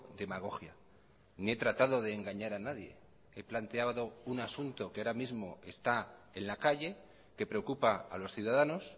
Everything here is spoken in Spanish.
demagogia ni he tratado de engañar a nadie he planteado un asunto que ahora mismo está en la calle que preocupa a los ciudadanos